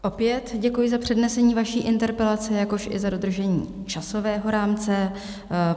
Opět děkuji za přednesení vaší interpelace, jakož i za dodržení časového rámce.